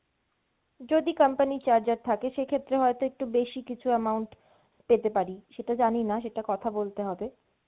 যদি company charger থাকে সেক্ষেত্রে হয়তো একটু বেশি কিছু amount পেতে পারি, সেটা জানিনা সেটা কথা বলতে হবে।